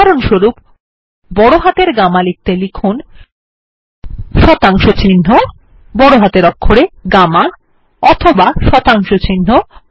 উদাহরনস্বরূপ বড় হাতে গামা লিখতে লিখুন160GAMMA অথবা160THETA